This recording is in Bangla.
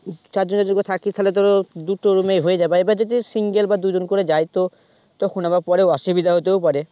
চার জন চার জন থাকছিস তাইলে ধরো দুটো room এ হয়ে যাবে এবার যদি single বা দুইজন করে যাই তো তখন আবার পরে অসুবিধা হতেও পারে